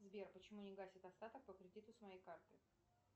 сбер почему не гасит остаток по кредиту с моей карты